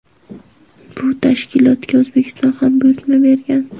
Bu tashkilotga O‘zbekiston ham buyurtma bergan.